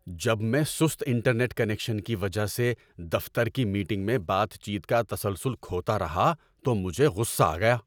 ‏جب میں سست انٹرنیٹ کنکشن کی وجہ سے دفتر کی میٹنگ میں بات چیت کا تسلسل کھوتا رہا تو مجھے غصہ آ گیا۔